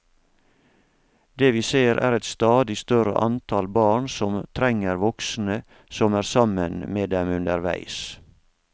Det vi ser er et stadig større antall barn som trenger voksne som er sammen med dem underveis.